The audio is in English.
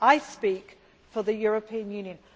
I speak for the European Union.